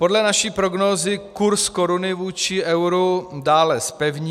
Podle naší prognózy kurz koruny vůči euru dále zpevní.